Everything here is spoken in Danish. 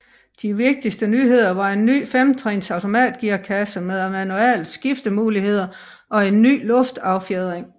De vigtigste nyheder var en ny femtrins automatgearkasse med manuel skiftemulighed og en ny luftaffjedring